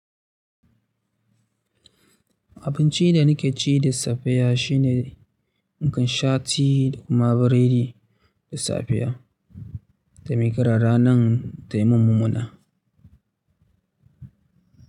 Abincin da nake ci da safiya shine in kan sha ti da kuma biredi da safiya, da miƙara ranar ta yi mun mummunna.